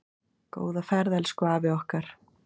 Góða ferð elsku afi okkar.